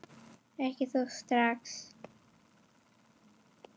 Ekki þó strax.